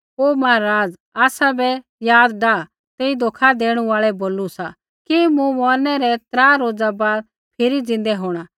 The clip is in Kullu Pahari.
हे महाराज़ आसाबै याद डाह तेई धोखै देणु आल़ै बोलू सा कि मूँ मौरनै रै त्रा रोज़ा बाद फिरी ज़िन्दै होंणा